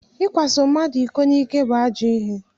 Ịkwaso mmadụ iko n'ike bụ ajọ ihe